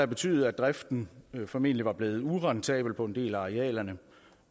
betydet at driften formentlig var blevet urentabel på en del af arealerne